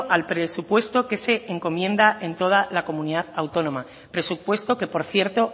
al presupuesto que se encomienda en toda la comunidad autónoma presupuesto que por cierto